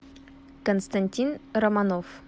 константин романов